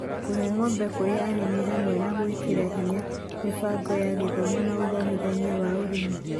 kũhe ngombo kũrĩ arĩmi hamwe na gwĩkĩra hinya mĩbango ya gĩthomo na ũthomithania wa ũrĩmi